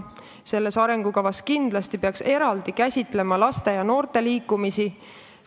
Selles arengukavas peaks kindlasti eraldi käsitlema laste ja noorte liikumist.